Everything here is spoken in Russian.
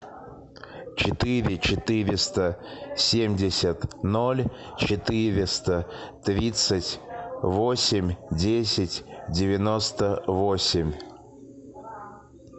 четыре четыреста семьдесят ноль четыреста тридцать восемь десять девяносто восемь